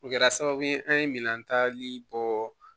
O kɛra sababu ye an ye minan tali bɔ